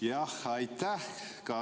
Jah, aitäh!